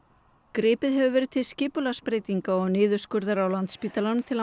gripið hefur verið til skipulagsbreytinga og niðurskurðar á Landspítalanum til að